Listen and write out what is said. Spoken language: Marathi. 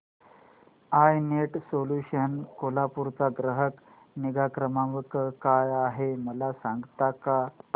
आय नेट सोल्यूशन्स कोल्हापूर चा ग्राहक निगा क्रमांक काय आहे मला सांगता का